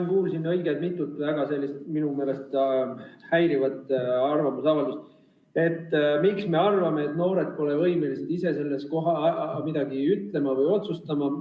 Ma kuulsin siin õige mitut minu meelest väga häirivat arvamusavaldust, et miks me arvame, et noored ise pole võimelised selle kohta midagi ütlema või otsustama.